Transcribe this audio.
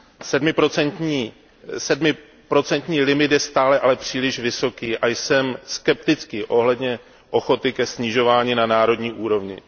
Sedmiprocentní limit je stále ale příliš vysoký a jsem skeptický ohledně ochoty ke snižování na národní úrovni.